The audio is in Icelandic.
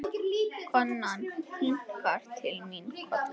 Konan kinkar til mín kolli.